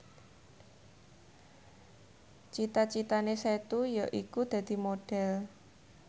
cita citane Setu yaiku dadi Modhel